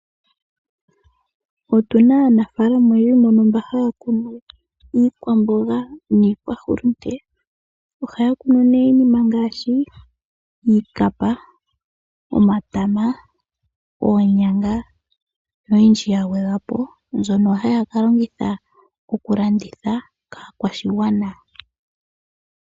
Otu na aanafalama mboka haya ku nu iikwaamboga niikwahulunde. Ohaya ku nu iinima ngaashi iikapa, omatama, oonyanga noyindji ya gwedhwa po mbyono haya ka longitha okukalanditha kaakwashigwana.